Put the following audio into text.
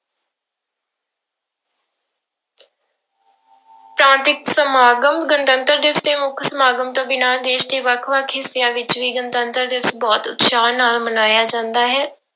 ਪ੍ਰਾਂਤਿਕ ਸਮਾਗਮ, ਗਣਤੰਤਰ ਦਿਵਸ ਦੇ ਮੁੱਖ ਸਮਾਗਮ ਤੋਂ ਬਿਨਾਂ ਦੇਸ ਦੇ ਵੱਖ ਵੱਖ ਹਿੱਸਿਆਂ ਵਿੱਚ ਵੀ ਗਣਤੰਤਰ ਦਿਵਸ ਬਹੁਤ ਉਤਸ਼ਾਹ ਨਾਲ ਮਨਾਇਆ ਜਾਂਦਾ ਹੈ।